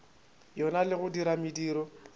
yona le go dira mediro